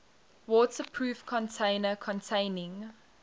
waterproof container containing